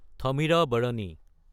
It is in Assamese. থামিৰাবাৰাণী